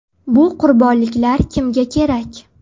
Bu qurbonliklar kimga kerak?